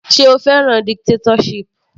Sé o fẹ́ràn dictatorship.